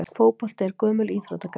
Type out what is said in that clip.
Fótbolti er gömul íþróttagrein.